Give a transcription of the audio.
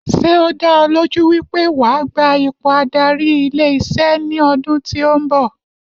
Ṣé o dá ọ lójú wípé wa gba ipò adarí ilé iṣé ní ọdún tí o nbọ